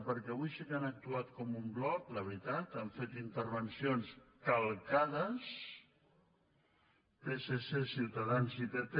perquè avui sí que han actuat com un bloc la veritat han fet intervencions calcades psc ciutadans i pp